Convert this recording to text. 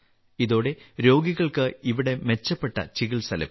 ഇതോടെ രോഗികൾക്ക് ഇവിടെ മെച്ചപ്പെട്ട ചികിത്സ ലഭിക്കും